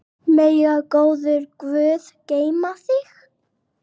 Megi góður Guð geyma þig.